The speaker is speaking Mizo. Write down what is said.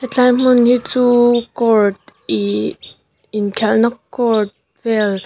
hetlai hmun hi chuuu court ihh inkhelhna court vel--